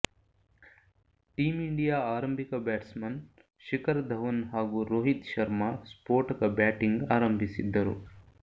team India ಆರಂಭಿಕ batsman Shikhar Dhawan ಹಾಗೂ ರೋಹಿತ್ ಶರ್ಮಾ ಸ್ಫೋಟಕ ಬ್ಯಾಟಿಂಗ್ ಆರಂಭಿಸಿದ್ದರು